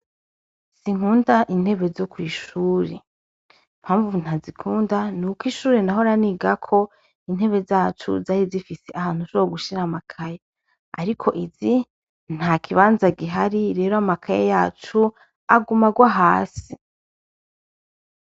Sinkunda intebe zo kw'ishuri mpamvu ntazikunda ni uko ishuri nahoranigako intebe zacu zari zifise ahantu sow gushira amakaya, ariko izi nta kibanza gihari rero amakaya yacu aga umarwa hasi.